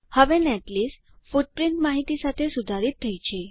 હવે netlist footprint માહિતી સાથે સુધારિત થઇ છે